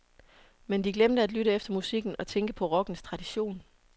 Men de glemte at lytte efter musikken og tænke på rockens tradition.